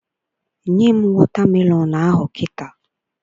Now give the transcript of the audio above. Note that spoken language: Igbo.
Nye m wọta melọn ahụ kịta!